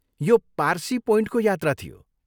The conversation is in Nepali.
यो पार्सी पोइन्टको यात्रा थियो।